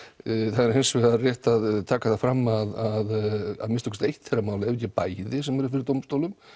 það er hins vegar rétt að taka það fram að minnsta kosti eitt þeirra mála ef ekki bæði sem eru fyrir dómstólum